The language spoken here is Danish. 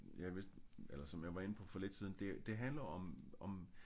Ja hvis eller som jeg var inde på for lidt siden det handler om om